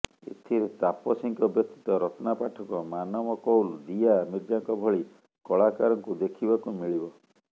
ଏଥିରେ ତାପସୀଙ୍କ ବ୍ୟତୀତ ରତ୍ନା ପାଠକ ମାନବ କୌଲ ଦୀୟା ମିର୍ଜାଙ୍କ ଭଳି କଳାକାରଙ୍କୁ ଦେଖିବାକୁ ମିଳିବ